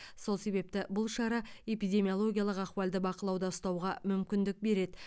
сол себепті бұл шара эпидемиологиялық ахуалды бақылауда ұстауға мүмкіндік береді